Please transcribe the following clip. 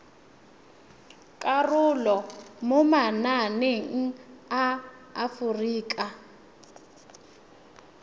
karolo mo mananeng a aforika